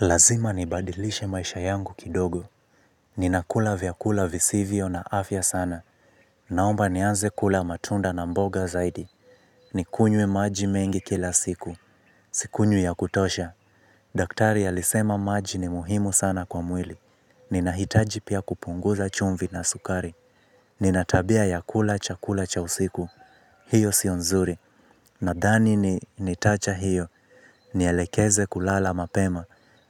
Lazima nibadilishe maisha yangu kidogo. Ninakula vyakula visivyo na afya sana. Naomba nianze kula matunda na mboga zaidi. Nikunywe maji mengi kila siku. Sikunywi ya kutosha. Daktari alisema maji ni muhimu sana kwa mwili. Ninahitaji pia kupunguza chumvi na sukari. Nina tabia ya kula chakula cha usiku. Hiyo sio nzuri. Nadhani ni nitaacha hiyo. Nielekeze kulala mapema.